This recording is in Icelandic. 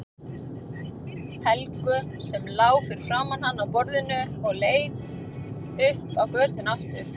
Helgu sem lá fyrir framan hann á borðinu og leit upp á götuna aftur.